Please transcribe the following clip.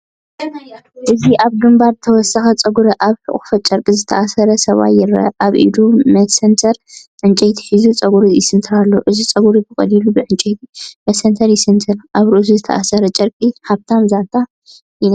እዚ ኣብ ግንባሩ ተወሳኺ ጸጉሪ ኣብ ሕቝፉ ጨርቂ ዝተኣስረ ሰብኣይ ይረአ። ኣብ ኢዱ መሰንተር ዕንጨይቲ ሒዙ ጸጉሩ ይስንትር ኣሎ። እዚ ጸጉሪ ብቐሊሉ ብዕንጨይቲ መሰንተር ይስንትር፤ ኣብ ርእሱ ዝተኣስረ ጨርቂ ሃብታም ዛንታ ይነግር።